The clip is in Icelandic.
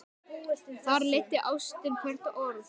Þar leiddi ástin hvert orð.